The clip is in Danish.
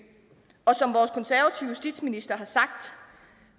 som justitsminister har sagt